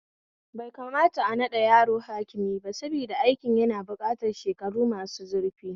Bai kamata a naɗa yaro hakimi ba saboda aikin na bukatar shekaru masu zurfi